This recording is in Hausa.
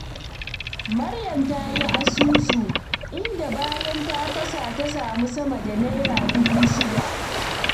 Maryam ta yi asusu, inda bayan ta fasa ta samu sama da Naira dubu shida.